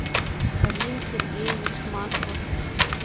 рим сергеевич маслов